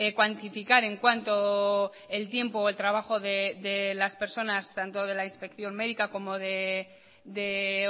cuantificar en cuanto el tiempo o el trabajo de las personas tanto de la inspección médica como de